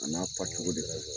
A n'a fa cogo de bɛ